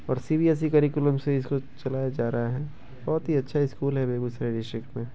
और CBSC. Curriculum से इसको चलाया जा रहा है बहोत ही अच्छा स्कूल है बेगुसराय डिस्ट्रिक्ट में।